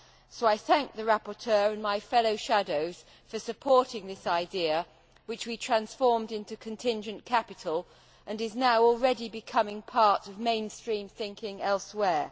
So I thank the rapporteur and my fellow shadows for supporting this idea, which we transformed into contingent capital and is already becoming part of mainstream thinking elsewhere.